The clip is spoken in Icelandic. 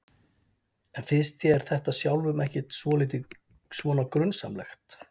En finnst þér þetta sjálfum ekkert svolítið svona grunsamlegt?